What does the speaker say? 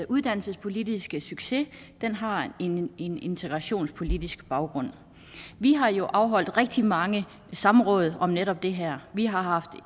uddannelsespolitiske succes har en en integrationspolitisk baggrund vi har jo afholdt rigtig mange samråd om netop det her vi har haft